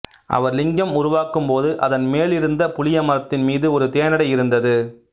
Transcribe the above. அவர் லிங்கம் உருவாக்கும் போது அதன் மேலிருந்த புளியமரத்தின் மீது ஒரு தேனடை இருந்தது